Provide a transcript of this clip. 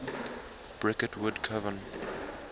bricket wood coven